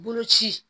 Boloci